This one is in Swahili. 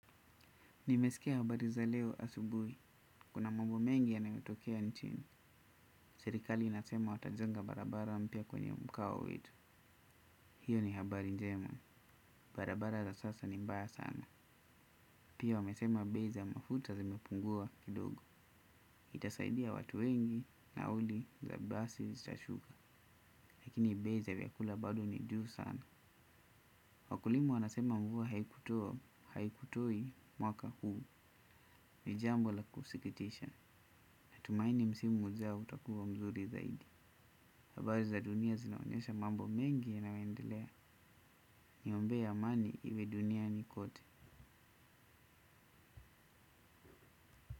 Nimesikia habari za leo asubuhi, kuna mambo mengi yanayotokea nchini. Serikali inasema watajenga barabara mpya kwenye mkao wetu. Hiyo ni habari njema, barabara za sasa ni mbaya sana. Pia wamesema bei za mafuta zimepungua kidogo. Itasaidia watu wengi nauli za basi zitashuka. Lakini bei za vyakula bado ni juu sana. Wakulima wanasema mvua, haikutoi mwaka huu. Ni jambo la kusikitisha. Natumaini msimu ujao utakuwa mzuri zaidi. Habari za dunia zinaonyesha mambo mengi yanayoendelea. Niombee amani iwe duniani kote.